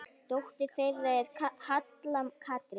Dóttir þeirra er Halla Katrín.